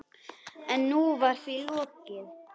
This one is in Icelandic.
En nú var því lokið.